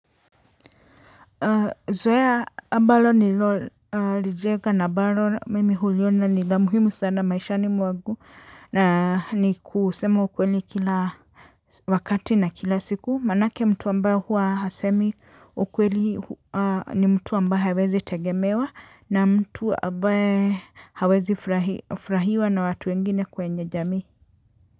Zoea ambalo nililo lijenga na ambalo mimi huliona nila muhimu sana maishani mwangu na ni kusema ukweli kila wakati na kila siku. Manake mtu ambaye huwa hasemi ukweli ni mtu ambaye hawezi tegemewa na mtu ambaye hawezi furahiwa na watu wengine kwenye jamii.